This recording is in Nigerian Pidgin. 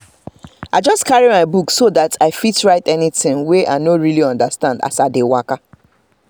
the guinea corn leave go just dey look very fine as early momo sunlight dey shine on am